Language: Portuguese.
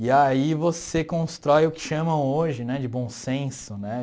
E aí você constrói o que chamam hoje né de bom senso, né?